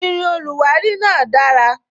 Irin oluwari náà dara